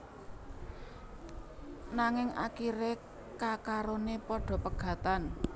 Nanging akiré kekaroné padha pegatan